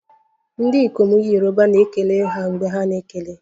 Ndị ikom Yoruba na-ekele ha mgbe ha na-ekele